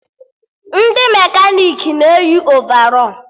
Ndị mekanik na-eyi ovarọl